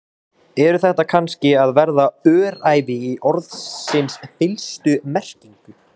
Eru þetta kannski að verða öræfi í orðsins fyllstu merkingu?